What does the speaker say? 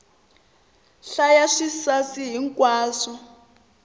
hlaya swisasi hi nkwaswo